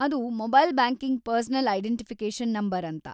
ಅದು mobile banking personal identification number ಅಂತ.